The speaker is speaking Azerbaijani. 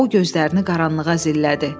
O gözlərini qaranlığa zillədi.